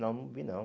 Não, não vi não.